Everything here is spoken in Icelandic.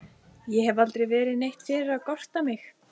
Ég hef aldrei verið neitt fyrir að gorta mig.